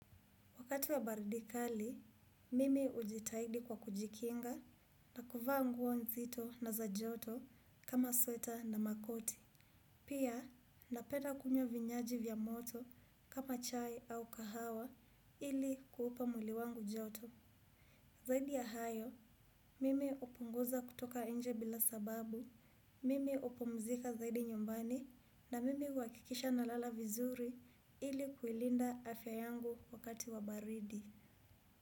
Wakati wa baridi kali, mimi hujitahidi kwa kujikinga na kuvaa nguo nzito na za joto kama sweta na makoti. Pia, napenda kunywa vinywaji vya moto kama chai au kahawa ili kuupa mwili wangu joto. Zaidi ya hayo, mimi hupunguza kutoka nje bila sababu, mimi hupumzika zaidi nyumbani na mimi uhakikisha nalala vizuri ili kuilinda afya yangu wakati wa baridi.